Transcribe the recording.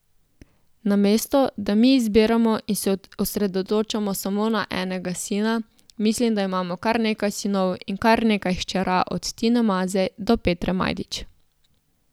Namesto, da mi izbiramo in se osredotočamo samo na enega sina, mislim, da imamo kar nekaj sinov in kar nekaj hčerka, od Tine Maze do Petre Majdič.